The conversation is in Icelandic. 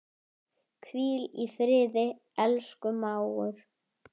Hvíl í friði, elsku mágur.